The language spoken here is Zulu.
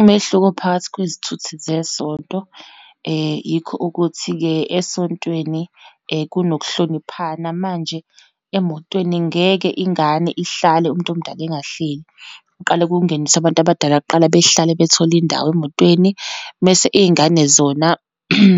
Umehluko phakathi kwezithuthi zesonto, yikho ukuthi-ke esontweni kunokuhloniphana. Manje emotweni ngeke ingane ihlale umuntu omdala engahleli, kuqale kungeniswe abantu abadala kuqala, behlale, bethole indawo emotweni. Mese iyingane zona